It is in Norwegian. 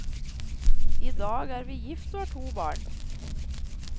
I dag er vi gift og har to barn.